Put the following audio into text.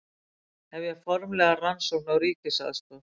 Hefja formlega rannsókn á ríkisaðstoð